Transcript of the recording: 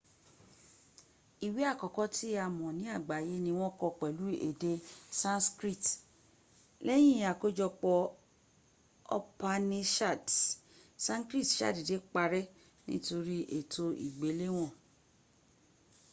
iwe akọkọ ti a mọ ni agbaye ni wọn kọ pẹlu ede sanskrit lẹyin akojọpọ upanishads sanskrit sadede parẹ nitori eto igbelewon